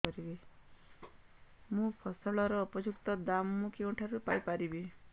ମୋ ଫସଲର ଉପଯୁକ୍ତ ଦାମ୍ ମୁଁ କେଉଁଠାରୁ ପାଇ ପାରିବି